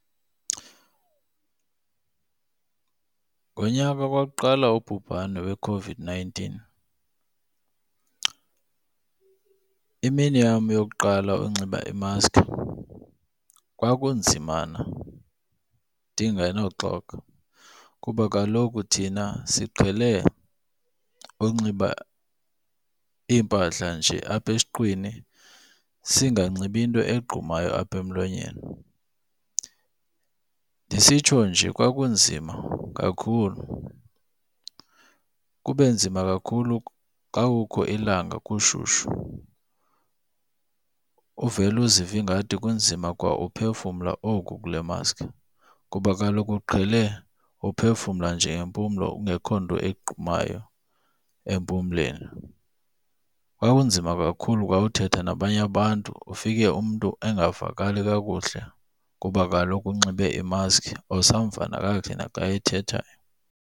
Ngonyaka kwakuqala ububhane weCOVID-nineteen imini yam yokuqala unxiba imaski kwakunzimana ndingenoxoka kuba kaloku thina siqhele unxiba iimpahla nje apha esiqwini singanxibi into egqumayo apha emlonyeni. Ndisitsho nje kwakunzima kakhulu, kube nzima kakhulu xa kukho ilanga kushushu, uvele uzive ingathi kunzima kwa uphefumla oku kule maski kuba kaloku uqhele uphefumla nje ngempumlo kungekho nto egqumayo empumlweni. Kwakunzima kakhulu kwa uthetha nabanye abantu, ufike umntu engavakali kakuhle kuba kaloku unxibe imaski awusamva nakakuhle naxa ethethayo.